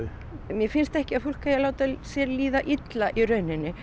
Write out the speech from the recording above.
mér finnst ekki að fólk eigi að láta sér líða illa í rauninni